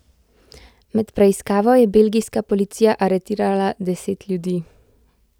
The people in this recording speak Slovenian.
Med preiskavo je belgijska policija aretirala deset ljudi.